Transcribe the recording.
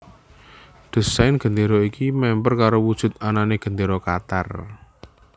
Désain gendéra iki memper karo wujud anané Gendéra Qatar